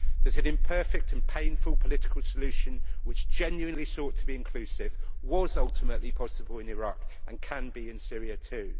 that an imperfect and painful political solution, which genuinely sought to be inclusive, was ultimately possible in Iraq and can be in Syria too